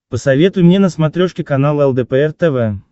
посоветуй мне на смотрешке канал лдпр тв